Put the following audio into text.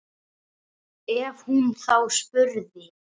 Ef hún þá spurði.